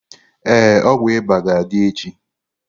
Ee, ọgwụ ịba ga-adị echi.